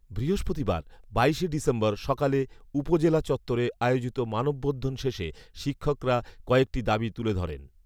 বৃহস্পতিবার, বাইশে ডিসেম্বর সকালে উপজেলা চত্তরে আয়োজিত মানববন্ধন শেষে শিক্ষকরা কয়েকটি দাবি তুলে ধরেন